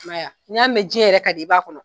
I m'a ye ya n'i mɛn jɛn yɛrɛ ka di i b'a kɔnɔ.